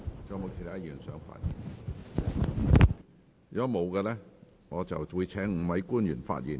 如果沒有議員想發言，我會請5位官員發言。